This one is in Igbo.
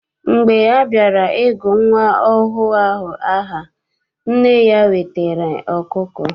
Mgbe a bịara I gụ nwa ọhụụ ahụ aha, nna ya wetara ọkụkọ.